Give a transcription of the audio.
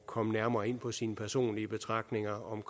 komme nærmere ind på sine personlige betragtninger om